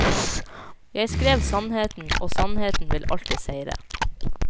Jeg skrev sannheten, og sannheten vil alltid seire.